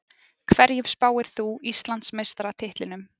Hverjum spáir þú Íslandsmeistaratitlinum?